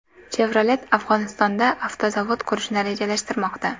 Chevrolet Afg‘onistonda avtozavod qurishni rejalashtirmoqda.